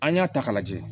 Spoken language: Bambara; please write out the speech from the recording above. An y'a ta k'a lajɛ